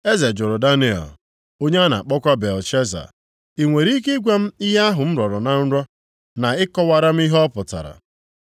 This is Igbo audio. Eze jụrụ Daniel (onye a na-akpọkwa Belteshaza), “I nwere ike ịgwa m ihe ahụ m rọrọ na nrọ, na ịkọwara m ihe ọ pụtara?”